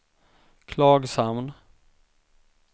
Klagshamn